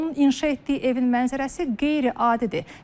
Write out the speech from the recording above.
Onun inşa etdiyi evin mənzərəsi qeyri-adidir.